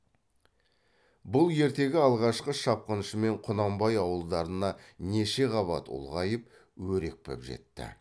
бұл ертегі алғашқы шапқыншымен құнанбай ауылдарына неше қабат ұлғайып өрекпіп жетті